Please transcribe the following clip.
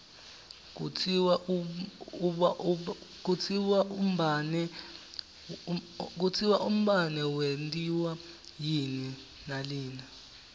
kutsi umbane wentiwa yini nalina